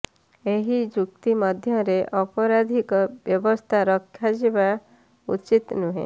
ଏହି ଚୁକ୍ତି ମଧ୍ୟରେ ଅପରାଧିକ ବ୍ୟବସ୍ଥା ରଖାଯିବା ଉଚିତ ନୁହେଁ